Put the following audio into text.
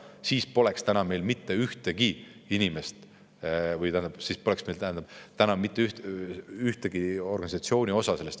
Siis poleks Eestis praegu mitte ühtegi Vene Õigeusu Kiriku kui organisatsiooni osa.